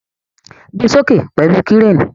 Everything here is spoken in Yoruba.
Gbe soke pẹlu Kireni!